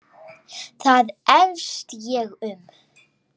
Það efast ég um.